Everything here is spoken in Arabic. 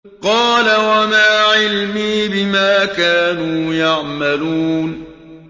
قَالَ وَمَا عِلْمِي بِمَا كَانُوا يَعْمَلُونَ